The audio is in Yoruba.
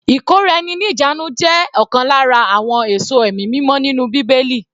Ìkóra-ẹni-ní-ìjánu jẹ́ ọ̀kan lára àwọn èso ẹ̀mí mímọ́ nínú bíbélì.